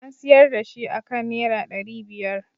An siyar da shi aka nera ɗari biyar